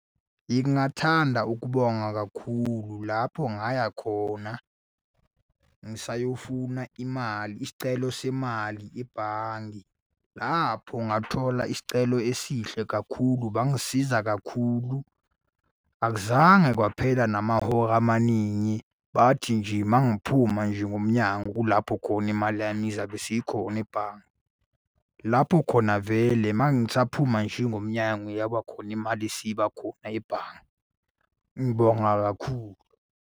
Ngingathanda ukubonga kakhulu lapho ngaya khona, ngisayofuna imali, isicelo semali ebhange. Lapho ngathola isicelo esihle kakhulu bangisiza kakhulu. Akuzange kwaphela namahora amaningi, bathi nje uma ngiphuma nje ngomnyango kulapho khona imali yami izabe isikhona ebhange. Lapho khona vele uma ngisaphuma nje ngomnyango yabakhona imali isiba khona ebhange. Ngibonga kakhulu.